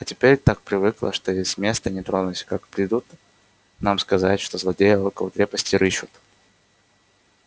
а теперь так привыкла что и с места не тронусь как придут нам сказать что злодеи около крепости рыщут